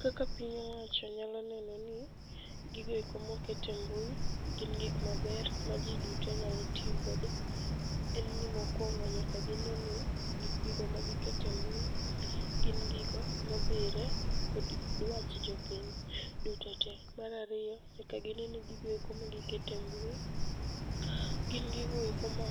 Kaka piny owacho nyalo neno ni gigoeko mokete mbui gin gik maber ma ji duto nyalo tiyogodo. En ni mokwongo nyaka gine ni gikgi go magikete mbui, gin gigo modhire kod dwach jopiny duto tee. Marariyo, nyaka gine ni gigoeko magiketo e mbui gin gigoeko ma